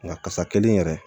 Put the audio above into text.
Nka kasa kelen yɛrɛ